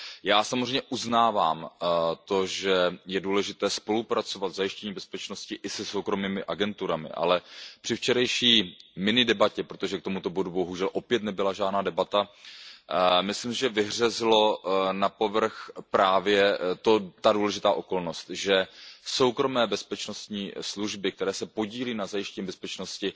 Já samozřejmě uznávám to, že je důležité spolupracovat v zajištění bezpečnosti i se soukromými agenturami, ale při včerejší minidebatě, protože k tomuto bodu bohužel opět nebyla žádná debata, myslím si, vyhřezla na povrch právě ta důležitá okolnost, že soukromé bezpečnostní služby, které se podílejí na zajištění bezpečnosti,